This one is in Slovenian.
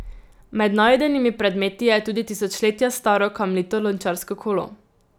Med najdenimi predmeti je tudi tisočletja staro kamnito lončarsko kolo.